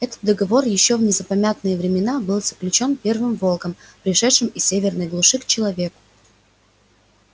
этот договор ещё в незапамятные времена был заключён первым волком пришедшим из северной глуши к человеку